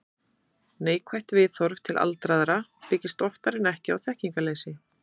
Neikvætt viðhorf til aldraðra byggist oftar en ekki á þekkingarleysi.